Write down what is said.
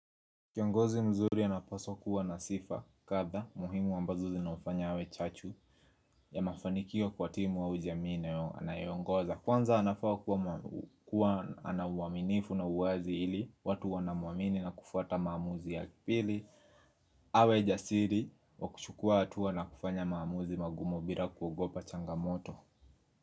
Kiongozi mzuri anapswa kuwa na sifa kadha muhimu ambazo zinaofanya awe chachu ya mafanikio kwa timu wa jamii anayongoza Kwanza anafaa kuwa anawaminifu na uwazi ili watu anamuamini na kufuata maamuzi ya kipili awe jasiri wa kuchukua hatua na kufanya maamuzi magumu bila kuogopa changamoto.